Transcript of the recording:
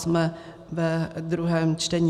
Jsme ve druhém čtení.